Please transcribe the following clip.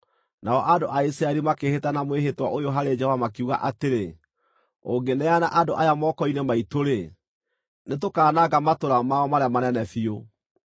Nao andũ Isiraeli makĩĩhĩta na mwĩhĩtwa ũyũ harĩ Jehova makiuga atĩrĩ: “Ũngĩneana andũ aya moko-inĩ maitũ-rĩ, nĩtũkananga matũũra mao marĩa manene biũ.”